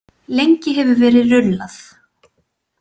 Lengi hefur verið rullað.